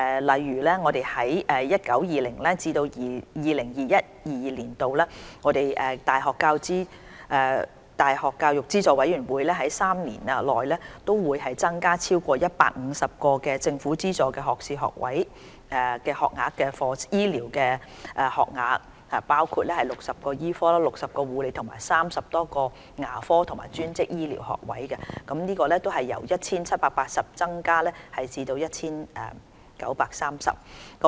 例如，在 2019-2020 年度至 2021-2022 年度大學教育資助委員會3年期內，將每年合共增加超過150個政府資助的學士學位醫療學額，當中包括60個醫科、60個護理和30多個牙科及專職醫療學科學位，由約 1,780 個增至約 1,930 個。